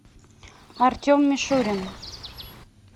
артем мишурин